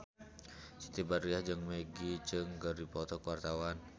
Siti Badriah jeung Maggie Cheung keur dipoto ku wartawan